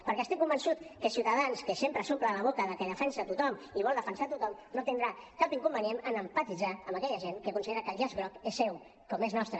perquè estic convençut que ciutadans que sempre s’omple la boca que defensa tothom i vol defensar tothom no tindrà cap inconvenient a empatitzar amb aquella gent que considera que el llaç groc és seu com és nostre